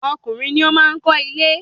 Ọkùnrin ni o maá kọ ile